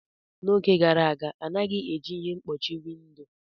N'oge gara aga, a naghị eji ihe mkpuchi windo.